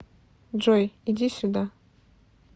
джой иди сюда